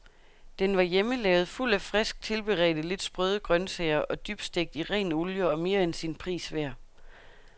Den var hjemmelavet, fuld af frisk tilberedte, lidt sprøde grøntsager og dybstegt i ren olie og mere end sin pris værd.